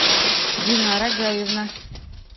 динара гаевна